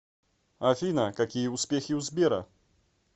афина какие успехи у сбера